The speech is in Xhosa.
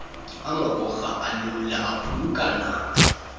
amagorha alula aphulukana